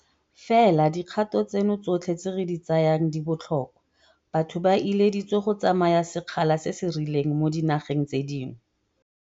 Fela dikgato tseno tsotlhe tse re di tsayang di botlhokwa. Batho ba ileditswe go tsamaya sekgala se se rileng mo dinageng tse dingwe.